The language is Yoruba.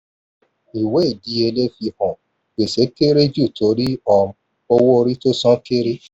ìwé ìdíyelé fi hàn gbèsè kéré jù torí um owó orí tó san kéré.